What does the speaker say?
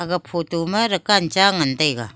ag photo ma dukaan cha ngan taiga.